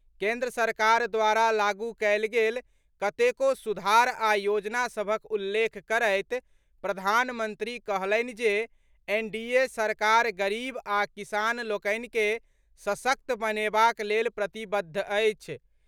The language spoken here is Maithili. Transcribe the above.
केन्द्र सरकार द्वारा लागू कयल गेल कतेको सुधार आ योजना सभक उल्लेख करैत प्रधानमंत्री कहलनि जे एनडीए सरकार गरीब आ किसान लोकनि के सशक्त बनेबाक लेल प्रतिबद्ध अछि।